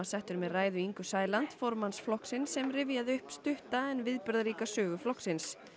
settur með ræðu Ingu Sæland formanns flokksins sem rifjaði upp stutta en viðburðaríka sögu flokksins